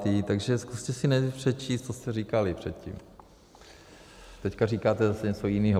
Takže zkuste si nejdřív přečíst, co jste říkali předtím, teďka říkáte zase něco jinýho.